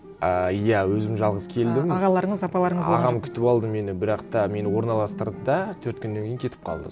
ыыы иә өзім жалғыз келдім а ағаларыңыз апаларыңыз ағам күтіп алды мені бірақ та мені орналастырды да төрт күннен кейін кетіп қалды